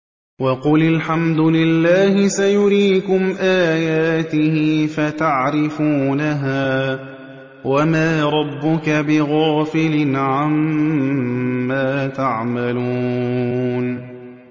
وَقُلِ الْحَمْدُ لِلَّهِ سَيُرِيكُمْ آيَاتِهِ فَتَعْرِفُونَهَا ۚ وَمَا رَبُّكَ بِغَافِلٍ عَمَّا تَعْمَلُونَ